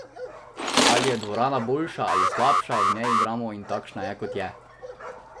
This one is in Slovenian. Ali je dvorana boljša ali slabša, v njej igramo in takšna je kot je!